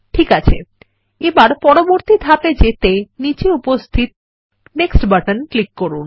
ঠিক আছে এবার পরবর্তী ধাপে যেতে নীচে উপস্থিত নেক্সট বাটনে ক্লিক করুন